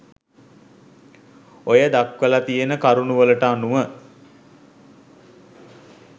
ඔය දක්වල තියෙන කරුණු වලට අනුව